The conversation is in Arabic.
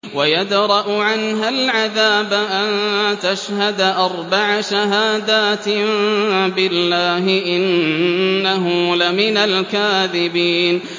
وَيَدْرَأُ عَنْهَا الْعَذَابَ أَن تَشْهَدَ أَرْبَعَ شَهَادَاتٍ بِاللَّهِ ۙ إِنَّهُ لَمِنَ الْكَاذِبِينَ